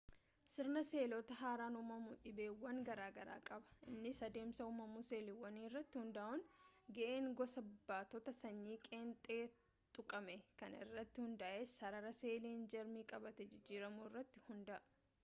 sirna seeloota haaraan uumamuu dhiibbaawwan garaagaraa qaba innis adeemsa uumamuu seeliiwwanii irratti hundaa'uun ga'een gosa baattota sanyii qeenxee tuqame kan irratti hundaa'u sarara seeliin jarmii qabatee jijjiiramu irratti hundaa'a